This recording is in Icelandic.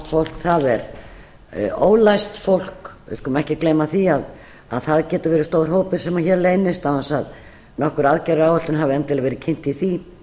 fólk það er ólæst fólk við skulum ekki gleyma því að það getur verið stór hópur sem hér leynist án þess að nokkur aðgerðaráætlun hafi endilega verið kynnt í því